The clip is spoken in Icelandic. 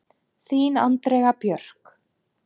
Þín Andrea Björk.